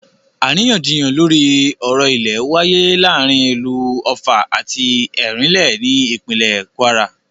Àríyànjiyàn lórí ọ̀rọ̀ ilẹ̀ wááyé láàrin ìlú Ọ̀ffà àti Ẹ̀rínlé ní ìpínlè Kwara